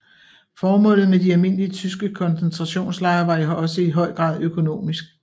Formålet med de almindelige tyske koncentrationslejre var også i høj grad økonomisk